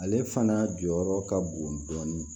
Ale fana jɔyɔrɔ ka bon dɔɔnin